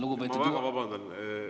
Ma väga vabandan!